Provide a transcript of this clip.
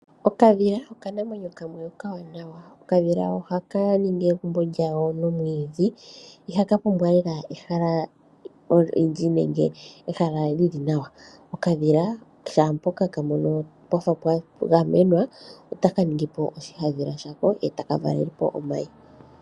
Okashila okanamwenyo kamwe okawanawa. Okashila ohaka ningi egumbo lyako nomwiidhi ihaka pumbwa lela ehala olindji nenge ehala li li nawa. Okashila shaa mpoka ka mono pwa fa pwa gamenwa ota ka ningi po oshihadhila shako kutya opuli nawa ku ko ohaka tungu po oshihadhila shako e taka valele po omayi.